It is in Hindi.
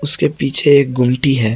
उसके पीछे एक गोमटी है।